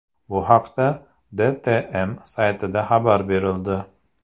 Bu haqda DTM saytida xabar berildi .